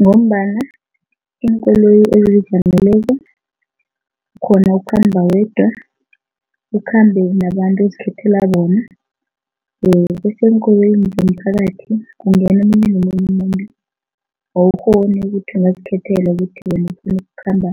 Ngombana iinkoloyi ezizijameleko ukghona ukukhamba wedwa, ukhambe nabantu ozikhethela bona bese eenkoloyini zomphakathi, kungena omunye nomunye umuntu, awukghoni ukuthi ungazikhethela ukuthi wena ufuna ukukhamba